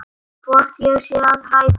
Hvort ég sé að hræða.